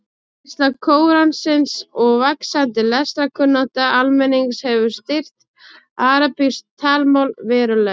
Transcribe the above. Útbreiðsla Kóransins og vaxandi lestrarkunnátta almennings hefur styrkt arabískt talmál verulega.